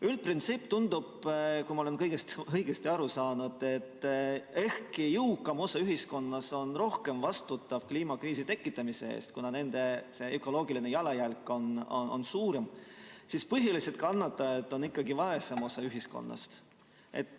Üldprintsiip tundub, kui ma olen kõigest õigesti aru saanud, et ehkki jõukam osa ühiskonnast on rohkem vastutav kliimakriisi tekitamise eest, kuna nende ökoloogiline jalajälg on suurem, siis põhiliselt kannatajad on ikkagi vaesem osa ühiskonnast.